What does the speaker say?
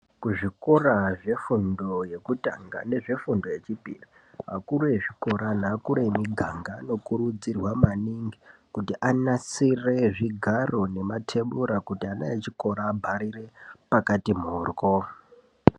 Kuzvikora zvefundo yekutanga, nezvefundo yechipiri, akuru ezvikoro neakuru emiganga, anokurudzirwa maningi kuti anasire zvigaro nematebura kuti ana echikora abharire pakati mhoryo.